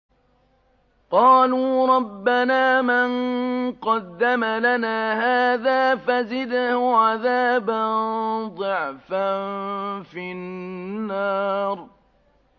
قَالُوا رَبَّنَا مَن قَدَّمَ لَنَا هَٰذَا فَزِدْهُ عَذَابًا ضِعْفًا فِي النَّارِ